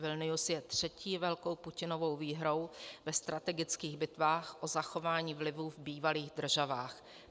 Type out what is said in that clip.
Vilnius je třetí velkou Putinovou výhrou ve strategických bitvách o zachování vlivu v bývalých državách.